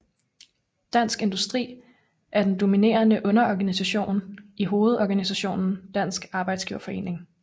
Dansk Industri er den dominerende underorganisation i hovedorganisationen Dansk Arbejdsgiverforening